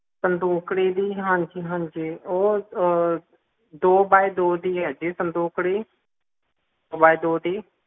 ਸੰਦੂਕੜੀ ਜੀ ਹਾਂਜੀ ਹਾਂਜੀ ਉਹ ਦੋ by ਦੋ ਦੀ ਹੈ ਜੀ ਸੰਦੂਕੜੀ ਦੋ by ਦੋ ਦੀ